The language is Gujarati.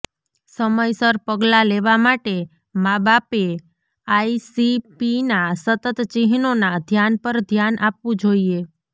સમયસર પગલાં લેવા માટે માબાપએ આઇસીપીના સતત ચિહ્નોના ધ્યાન પર ધ્યાન આપવું જોઈએ